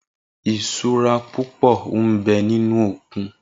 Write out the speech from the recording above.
Isúrà púpò n bè ninú ókún